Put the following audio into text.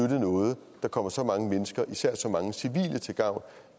noget der kommer så mange mennesker især så mange civile til gavn